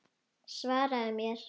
Svaraðu mér!